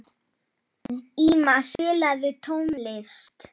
Íma, spilaðu tónlist.